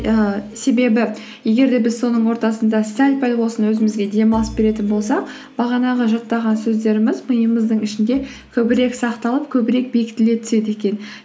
ііі себебі егер де біз соның ортасында сәл пәл болсын өзімізге демалыс беретін болсақ бағанағы жаттаған сөздеріміз миымыздың ішінде көбірек сақталып көбірек бекітіле түседі екен